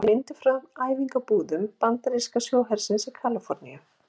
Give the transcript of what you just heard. Þessi mynd er frá æfingabúðum bandaríska sjóhersins í Kaliforníu.